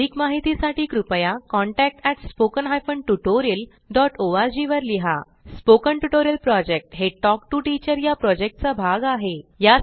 अधिक माहितीसाठी कृपया contact at spoken hyphen tutorial dot O R G वर लिहा स्पोकन ट्युटोरियल प्रॉजेक्ट हे टॉक टू टीचर या प्रॉजेक्टचा भाग आहे